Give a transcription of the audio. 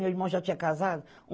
Meu irmão já tinha casado.